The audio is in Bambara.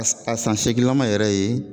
A san san seeginlaman yɛrɛ ye.